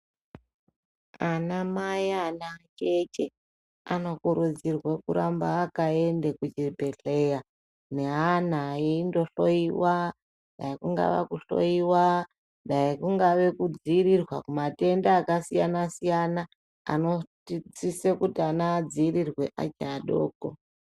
Ana mai anaacheche anokurudzirwa kuramba akaende kuchibhedhleya ne ana eindohloyiwa dai kungava kuhloyiwa, dai kungava kudzivirirwa kumatenda akasiyana siyana anotidetsera kuti ana adzivirirwe ari adoko.